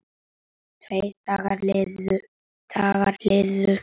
Tveir dagar liðu.